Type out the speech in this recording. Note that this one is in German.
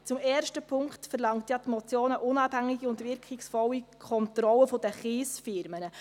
Im ersten Punkt verlangt die Motion eine unabhängige und wirkungsvolle Kontrolle der Kiesfirmen.